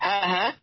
হ্যাঁ